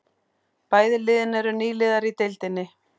Bæði liðin eru nýliðar í deildinni